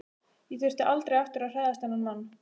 Ég þurfti aldrei aftur að hræðast þennan mann.